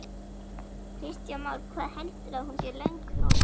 Kristján Már: Hvað heldurðu að hún sé löng núna?